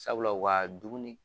Sabula u ka dumuni